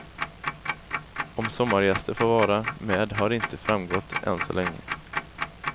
Om sommargäster får vara med har inte framgått än så länge.